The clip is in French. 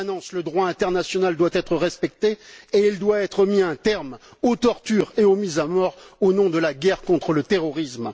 Le droit international doit être respecté en permanence et il doit être mis un terme aux tortures et aux mises à mort au nom de la guerre contre le terrorisme.